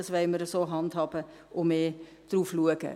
dies wollen wir so handhaben und stärker darauf achten.